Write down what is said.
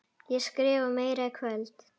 Ég skrifa meira í kvöld.